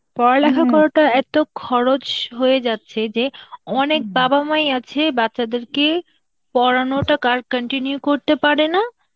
পড়ালেখা করাটা এত খরচ হয়ে যাচ্ছে যে, অনেক খরচ বাবা, মাই আছে বাচ্চাদেরকে পরানোটা কার~ continue করতে পারে না,